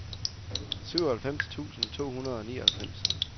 syvoghalvfems tusind to hundrede og nioghalvfems